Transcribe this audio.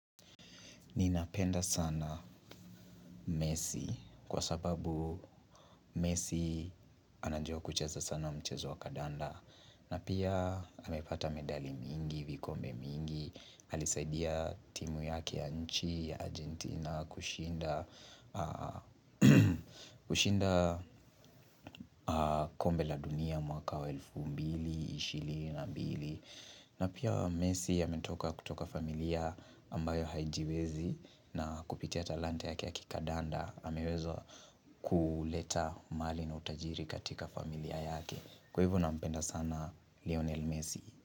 Nina penda sana messi kwa sababu messi anajua kucheza sana mchezo wa kandanda na pia amepata medali mingi, vikombe mingi, alisaidia timu yake ya nchi ya Argentina kushinda kushinda kombe la dunia mwaka wa elfu mbili ishirini na mbili, na pia messi ametoka kutoka familia ambayo haijiwezi na kupitia talanta yake ya kikadanda ameweza kuleta mali na utajiri katika familia yake Kwa hivo nampenda sana Lionel Messi.